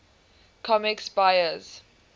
comics buyer s